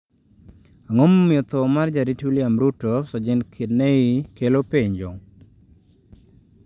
Ang'o momiyo tho mar jarit William Ruto, Sajent Kenei kelo penjo?